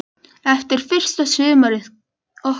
Eftir fyrsta sumarið okkar náði það aldrei að blómstra.